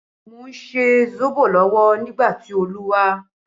Mo ń ṣe sóbò lọ́wọ́ nígbà tí Olu wá